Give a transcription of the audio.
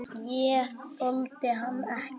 Ég þoldi hann ekki.